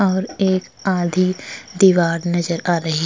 और एक आधी दीवार नजर आ रही --